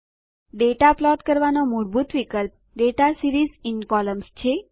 data plot આલેખ કરવાનો મૂળભૂત વિકલ્પ દાતા સીરીઝ ઇન કોલમ્ન્સ છે